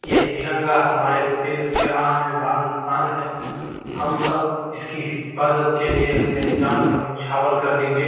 ये तिरंगा हमारे देश की आन बान शान है हम सब इसकी हिफ़ाजत के लिए अपनी जान को निछावर कर देंगे।